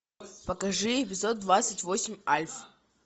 покажи эпизод двадцать восемь альф